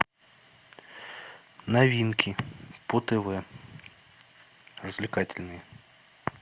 новинки по тв развлекательные